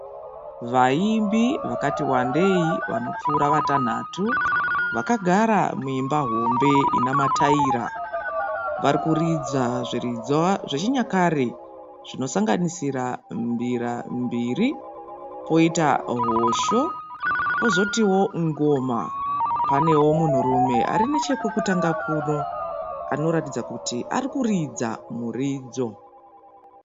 Vaimbi vakati wandei vanopfuura vatanhanhatu vakagara muimba hombe ine mataira. Vari kuridza zviridzwa zvechinyakare zvinosanganisira mbira mbiri , poita hosho, pozotiwo ngoma. Panewo munhurume ari pechekutanga anoratidza kuti ari kuridza muridzo.